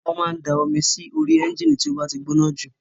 Wọ́n máa ń da omi sórí ẹ́ńjìnì tí ó bá ti gbóná jù